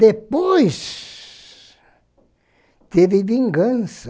Depois teve vingança.